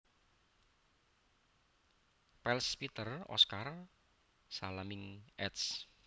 Pels Peter Oscar Salemink eds